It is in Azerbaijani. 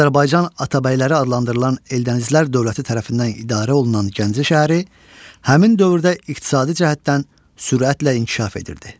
Azərbaycan Atabəyləri adlandırılan Eldənizlər dövləti tərəfindən idarə olunan Gəncə şəhəri həmin dövrdə iqtisadi cəhətdən sürətlə inkişaf edirdi.